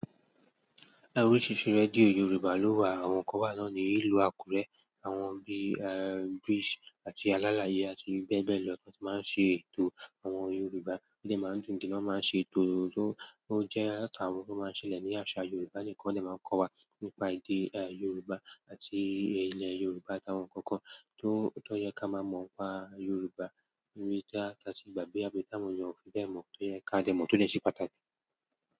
A orisirisi radio Yorùbá ló wà, àwọn kan wá na ní ìlú Àkúrẹ́. Àwọn bíi eh, Bridge àti Alálàyé àti bẹ́ẹ̀ bẹ́ẹ̀ lọ ni wọ́n ti máa ń ṣe ètò. Àwọn Yorùbá nígbà tí wọ́n máa ń gùn kí lọ́ máa ń ṣe ètò, tó jẹ́ àwọn tó máa ń ṣẹlẹ̀ ní àṣà Yorùbá nìkan ni wọ́n máa ń kọ́ wa nípa èdè Yorùbá àti ilẹ̀ Yorùbá àti àwọn ǹkan kan tó yẹ ká máa mọ̀ nipa Yorùbá, ewì àti ìgbàgbé, àbí táwon eeyan o fi bẹ́ẹ̀ mọ̀, tó yẹ ká jo mọ̀, tó lè ṣe pàtàkì.